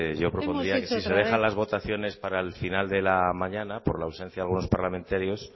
yo propondría si se deja las votaciones para el final de la mañana por la ausencia de algunos parlamentarios